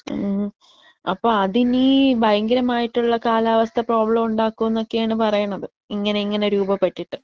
ഉം അപ്പോ അതിനി ഭയങ്കരമായിട്ടുള്ള കാലാവസ്ഥ പ്രോബ്ലം ഉണ്ടാക്കുന്നൊക്കെയാണ് പറയണത്. ഇങ്ങനെ ഇങ്ങനെ രൂപപ്പെട്ടിട്ട്.